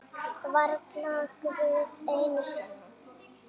Varla Guð einu sinni!